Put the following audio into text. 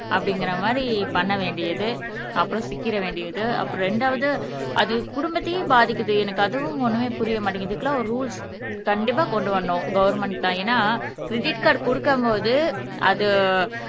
அப்படிங்கிற மாதிரி பண்ண வேண்டியது அப்புறம் சிக்கிற வேண்டியது அப்புறம் இரண்டாவது அது குடும்பத்தையே பாதிக்குது எனக்கு அதுவும் ஒண்ணுமே புரிய மாட்டேங்குது இதுக்கெல்லாம் ஒரு ரூல்ஸ் கண்டிப்பா கொண்டு வரணும் கவர்ன்மெண்ட் தான் ஏன்னா கிரெடிட் கார்டு கொடுக்கும் போது அது